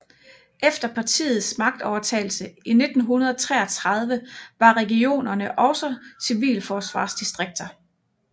Efter partiets magtovertagelse i 1933 var regionerne også civilforsvarsdistrikter